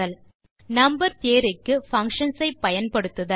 பின் number theory க்கு functions ஐ பயன்படுத்துதல்